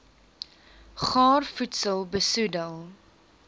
gaar voedsel besoedel